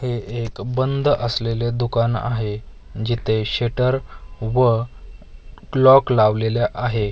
हे एक बंद असलेले दुकान आहे जिथे शेटर व क्लॉक लावलेल्या आहे.